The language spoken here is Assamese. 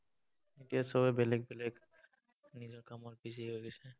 এতিয়া চবেই বেলেগ বেলেগ নিজৰ কামত busy হৈ গৈছে।